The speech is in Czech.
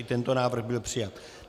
I tento návrh byl přijat.